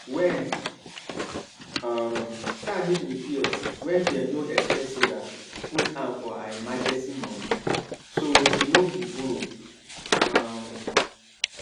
wen um car need repair wey dem no expect sarah put hand for her emergency money so she no go borrow um